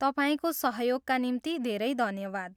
तपाईँको सहयोगका निम्ति धेरै धन्यवाद।